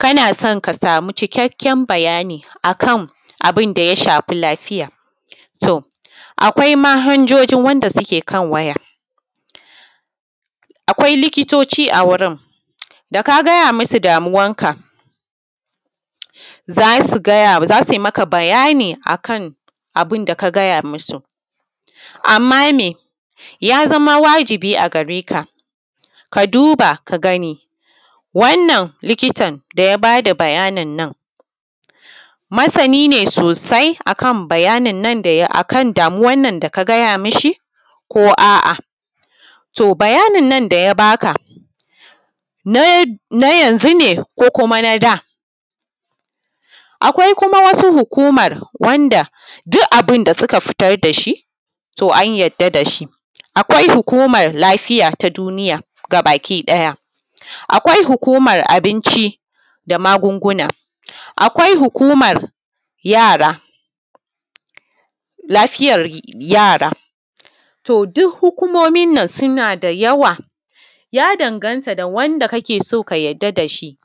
Kana son kasama cikakken bayani akan abin da ya shafi lafiya son akwai manhajoji akan waya, akwai likitoci a wurin da ka gaya musu damuwanka za su yi maka bayani kan abin da ka gaya musu. Amma me ya zama wajibi a gareka ka duba ka gani wannan likitan da ya baka bayanin nan masani ne sosai akan damuwannan da ka gaya mi shi ko a’a. To, bayanin nan da ya baka nayanzu ne ko kuma nada, akwai kuma wasu hukuma duk abin da suka fitar da shi to an yarda da shi, akwai hukumanm lafiya na duniya gabakiɗaya, akwai hukunan abinci da magunguna, akwai hukuman yara, lafiyar yara to duk hukumomin nan suna da yawa ya danganta da wanda kake so ka yarda da shi,